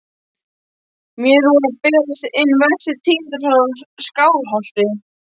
Mér voru að berast hin verstu tíðindi frá Skálholti.